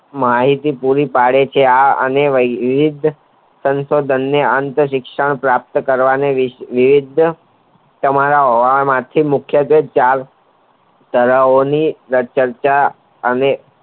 માહિતી પુરી પડે છે આ અને નિધ સંશોધનને શિક્ષણ પ્રાપ્ત કરવાની વિવિધ તમારા હોવાથી મુખ્ય કે ચાર સલાઓની અને